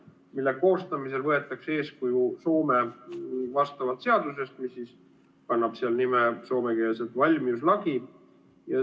Selle koostamisel võetakse eeskuju Soome vastavast seadusest, mis kannab seal soomekeelset nime "valmiuslaki".